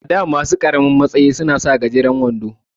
A da masu ƙaramin ranki suna sa gajeren wando.